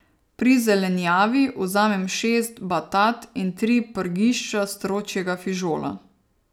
Pri zelenjavi vzamem šest batat in tri prgišča stročjega fižola.